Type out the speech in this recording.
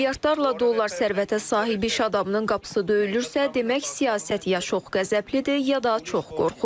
Milyardlarla dollar sərvətə sahib iş adamının qapısı döyülürsə, demək siyasət ya çox qəzəblidir, ya da çox qorxur.